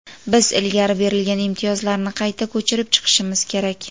biz ilgari berilgan imtiyozlarni qayta ko‘chirib chiqishimiz kerak.